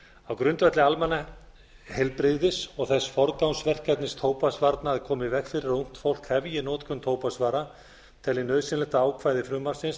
á grundvelli almannaheilbrigðis og þess forgangsverkefnis tóbaksvarna að koma í veg fyrir að ungt fólk hefji notkun tóbaksvara tel ég nauðsynlegt að ákvæði frumvarpsins